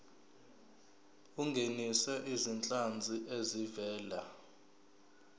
ungenise izinhlanzi ezivela